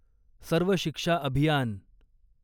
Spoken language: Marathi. सर्व शिक्षा अभियान